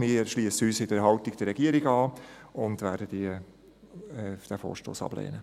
Wir schliessen uns in der Haltung der Regierung an und werden den Vorstoss ablehnen.